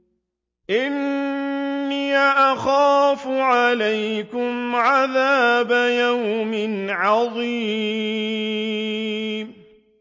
إِنِّي أَخَافُ عَلَيْكُمْ عَذَابَ يَوْمٍ عَظِيمٍ